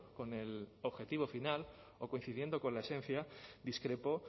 con el objetivo final o coincidiendo con la esencia discrepo